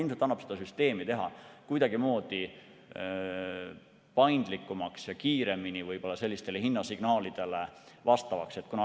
Ilmselt annab seda süsteemi teha kuidagimoodi paindlikumaks ja kiiremini hinnasignaalidele vastavaks.